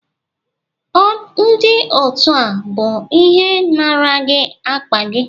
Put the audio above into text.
ọ ndi otu a bu ihe nara gi akpa gi?